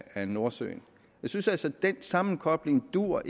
af nordsøen jeg synes altså ikke at den sammenkobling duer